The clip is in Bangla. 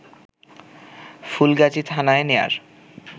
ফুলগাজী থানায় নেয়ার